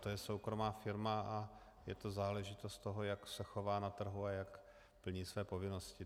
To je soukromá firma a je to záležitost toho, jak se chová na trhu a jak plní své povinnosti.